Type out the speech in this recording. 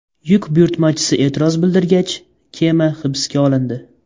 Yuk buyurtmachisi e’tiroz bildirgach, kema hibsga olindi.